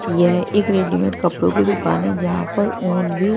यह एक रेडीमेड कपड़ों की दुकान है जहां पर ऊन भी--